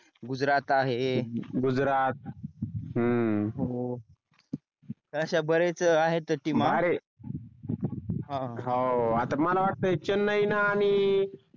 गुजरात आहे गुजरात हम्म हो अश्या बऱ्याच आहे team बारे अह आता मला वाटते चेन्नईन आणि